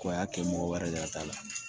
Ko a y'a kɛ mɔgɔ wɛrɛ de t'a la